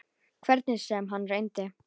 Hvernig sem hann reyndi.